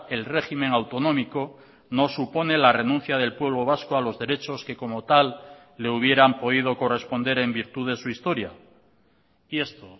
el régimen autonómico no supone la renuncia del pueblo vasco a los derechos que como tal le hubieran podido corresponder en virtud de su historia y esto